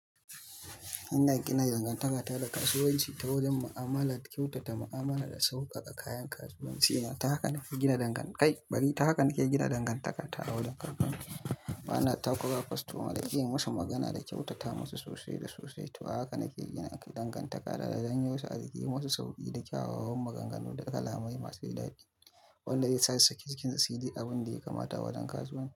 Ina gina dangantaka da kasuwanci ta wajen mu'amala kyauta, da mu'amala da sauƙaƙa kayan kasuwanci. Haka nake gina dangantaka. Bari, ta haka nake gina dangantaka ta a wurin karɓar bana takurawa kwastoma da iya musu magana da kyautata musu sosai da sosai. To, haka nake gina dangantaka da zanyi wasu a ji, yi musu sauƙi da kyawawan maganganu da kalamai masu dadi wanda zai sa cikin su su ji abin da ya kamata wajen kasuwanci.